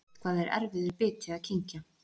Eitthvað er erfiður biti að kyngja